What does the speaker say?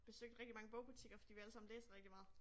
Besøgte rigtig mange bogbutikker fordi vi allesammen læser rigtig meget